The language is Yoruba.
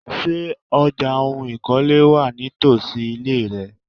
Ṣé ọjà oun ìkọ́lé wà nítosi ile rẹ?